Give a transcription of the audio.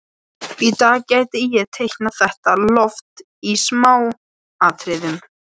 Hann hafði líka á yngri árum verið lagtækur teiknari andlitsmynda.